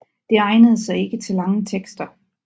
Det egnede sig ikke til lange tekster